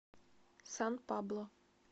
сан пабло